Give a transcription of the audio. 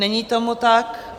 Není tomu tak.